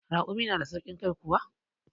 Raƙumi na da sauƙin kai kuwa?